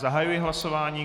Zahajuji hlasování.